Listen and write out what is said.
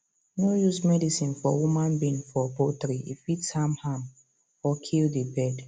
no use medicine for human being for poultry e fit harm am or kill the bird